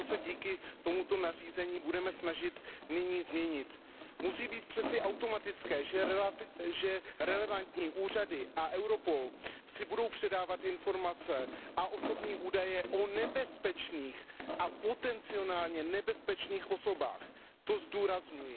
A to se díky tomuto nařízení budeme snažit nyní změnit. Musí být přeci automatické, že relevantní úřady a Europol si budou předávat informace a osobní údaje o nebezpečných a potencionálně nebezpečných osobách, to zdůrazňuji.